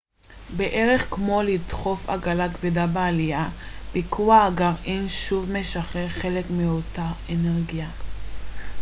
בערך כמו לדחוף עגלה כבדה בעלייה ביקוע הגרעין שוב משחרר חלק מאותה אנרגיה